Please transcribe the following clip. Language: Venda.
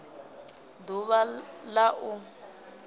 d uvha l a u